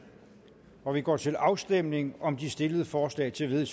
og vi går til afstemning om de stillede forslag til